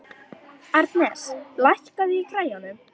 Arnes, lækkaðu í græjunum.